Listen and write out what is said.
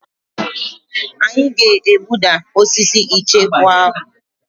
Anyị ga-egbuda osisi icheku ahụ.